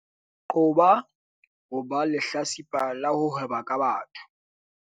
Qoba ho ba lehlatsipa la ho hweba ka batho